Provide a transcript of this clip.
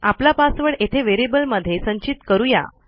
आपला पासवर्ड येथे व्हेरिएबलमध्ये संचित करू या